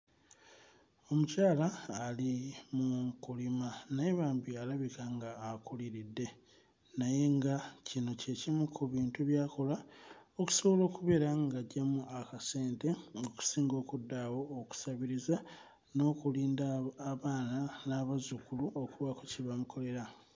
Omukyala ali mu kulima naye bambi alabika nga akuliridde naye nga kino kye kimu ku bintu by'akola okusobola okubeera ng'aggyamu akasente okusinga okudda awo okusabiriza n'okulinda abo abaana n'abazzukulu okubaako kye bamukolera.